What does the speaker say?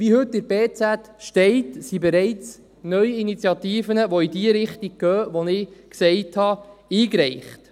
Wie heute in der Berner Zeitung steht, sind bereits neue Initiativen, die in die Richtung gehen, die ich gesagt habe, eingereicht.